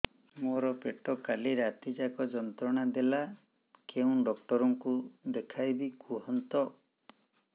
ମୋର ପେଟ କାଲି ରାତି ଯାକ ଯନ୍ତ୍ରଣା ଦେଲା କେଉଁ ଡକ୍ଟର ଙ୍କୁ ଦେଖାଇବି କୁହନ୍ତ